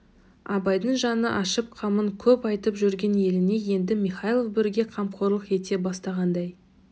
абайдың жаны ашып қамын көп айтып жүрген еліне енді михайлов бірге қамқорлық ете бастағандай